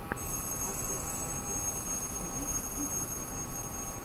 открой концерты на ютубе